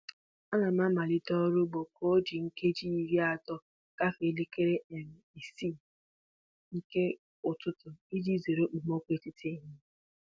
Ana m amalite ọrụ ugbo ka o ji nkeji iri atọ gafee elekere um isii nke ụtụtụ iji zere okpomọkụ etiti ehihie.